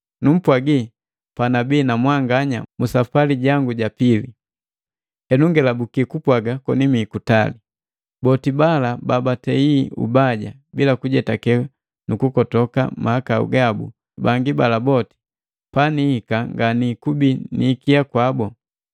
Numpwagi panabii na mwanganya musapwali ja pili, henu ngelabuki kupwaga koni mii kutali. Boti bala babatei ubaja bila kujetake nukukotoka mahakau gabu bangi bala boti, panihika nganikubi ni ikia kwabo.